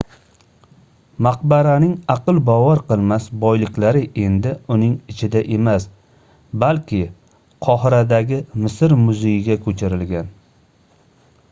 maqbaraning aql bovar qilmas boyliklari endi uning ichida emas balki qohiradagi misr muzeyiga koʻchirilgan